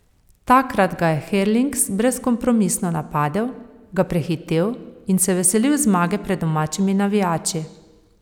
Takrat ga je Herlings brezkompromisno napadel, ga prehitel in se veselil zmage pred domačimi navijači.